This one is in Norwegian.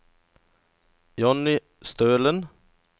Johnny Stølen